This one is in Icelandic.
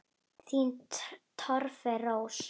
Þín Torfey Rós.